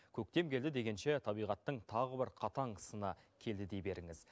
көктем келді дегенше табиғаттың тағы бір қатаң сыны келді дей беріңіз